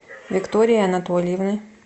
виктории анатольевны